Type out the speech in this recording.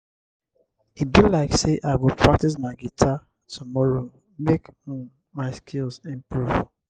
i go call my mama tomorrow check how um she dey.